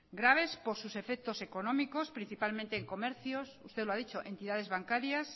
graves por sus efectos económicos principalmente en comercios usted lo ha dicho entidades bancarias